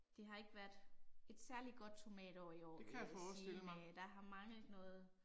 Det har ikke været et særlig godt tomatår i år, vil jeg sige, næ der har manglet noget